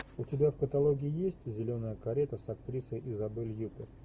у тебя в каталоге есть зеленая карета с актрисой изабель юппер